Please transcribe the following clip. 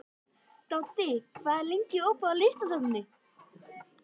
Doddi, hvað er lengi opið í Listasafninu?